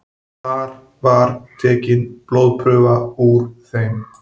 Þar var tekin blóðprufa úr þeim